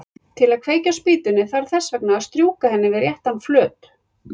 Til að kveikja á spýtunni þarf þess vegna að strjúka henni við réttan flöt.